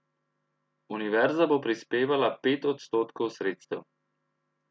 Univerza bo prispevala pet odstotkov sredstev.